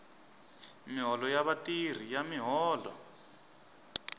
miholo ya vatirhi ya miholo